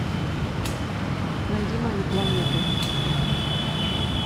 найди мою планету